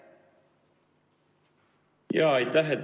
Aitäh!